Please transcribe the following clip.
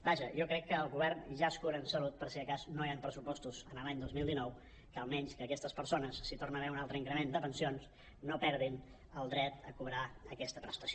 vaja jo crec que el govern ja es cura amb salut per si de cas no hi han pressupostos l’any dos mil dinou que almenys que aquestes persones si hi torna a haver un altre increment de pensions no perdin el dret a cobrar aquesta pres·tació